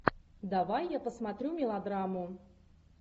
давай я посмотрю мелодраму